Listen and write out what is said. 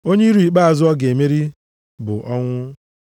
Onye iro ikpeazụ a ga-emeri bụ ọnwụ.